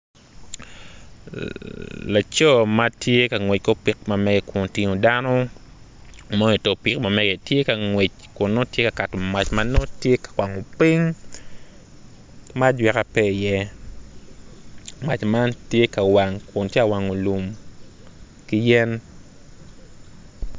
Man bongi ma kirukogi aruka i kom toi dok bongi man tye bongi gomci ki latere ma kitweyo i kome med ki koti ma kiruku ki kanyu kacel.